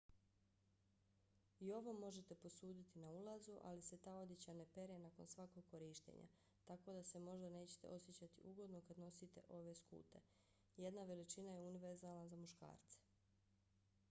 i ovo možete posuditi na ulazu ali se ta odjeća ne pere nakon svakog korištenja tako da se možda nećete osjećati ugodno kad nosite ove skute. jedna veličina je univerzalna za muškarce!